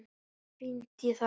Ferð fínt í það.